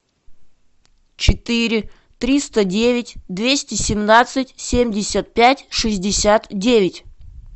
четыре триста девять двести семнадцать семьдесят пять шестьдесят девять